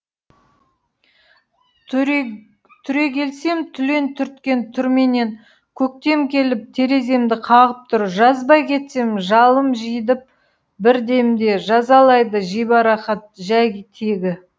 түрегелсем түлен түрткен түрменен көктем келіп тереземді қағып тұр жазбай кетсем жалым жидіп бір демде жазалайды жибарақат жай тегі